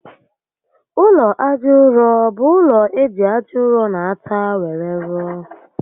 Ụlọ aja ụrọ bú ụlọ eji aja ụrọ na átá were rụọ